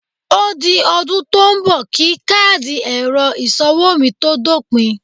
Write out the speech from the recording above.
Ó di ọdún tó ń bọ̀ kí káàdì ẹ̀rọ ìsanwó mi tó dópin